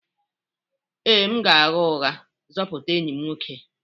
Ee, m ga-agha ụgha zọpụta enyi m nwoke